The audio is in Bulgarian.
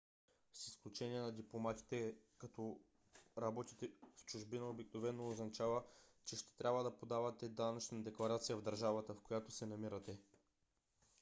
с изключение на дипломатите като работите в чужбина обикновено означава че ще трябва да подавате данъчна декларация в държавата в която се намирате